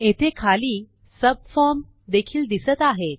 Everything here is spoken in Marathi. येथे खाली सबफॉर्म देखील दिसत आहेत